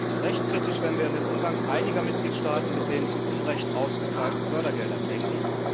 Zu Recht kritisch, wenn wir an den Umgang einiger Mitgliedstaaten mit den zu Unrecht ausgezahlten Fördergeldern denken.